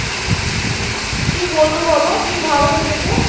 কি বলবে বলো কি ভাবে নিজেকে